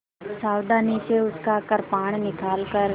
सावधानी से उसका कृपाण निकालकर